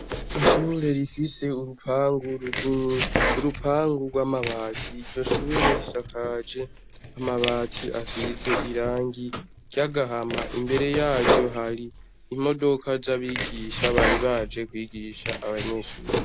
Ikigo c'amashure yisumbuye kigeretse kabiri mu buryo bw'amagorofa ikaba gisize ibara ryera hasi hakaba hari utubuye n'amashurwe ahateretse, kandi hakaba ahari imodoka ihagaze imbere y'ico kigo hakabari n'abanyeshure bahagaze hasi no hejuru.